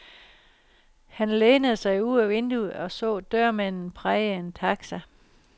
Han lænede sig ud af vinduet, og så dørmanden praje en taxa.